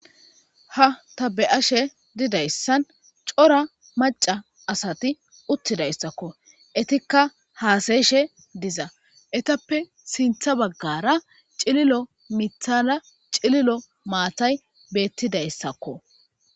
ha tabe7ashe didayssan cora maca asati uttidayssakko etikka haasayeshe diza etappe sintha baggara cililo mithala cililo maatay beettidayssakko